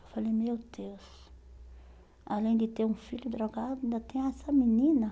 Eu falei, meu Deus, além de ter um filho drogado, ainda tem essa menina?